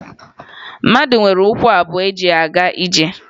Mmadụ nwere ụkwụ abụọ eji aga ije